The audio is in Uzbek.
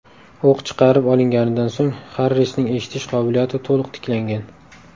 O‘q chiqarib olinganidan so‘ng Xarrisning eshitish qobiliyati to‘liq tiklangan.